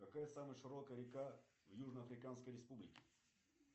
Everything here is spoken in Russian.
какая самая широкая река в южно африканской республике